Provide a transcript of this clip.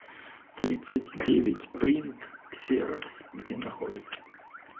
тридцатьдевятьпринт ксерокс где находится